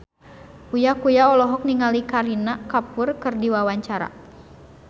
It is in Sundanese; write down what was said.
Uya Kuya olohok ningali Kareena Kapoor keur diwawancara